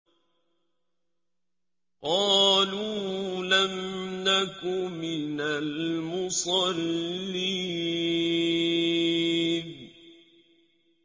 قَالُوا لَمْ نَكُ مِنَ الْمُصَلِّينَ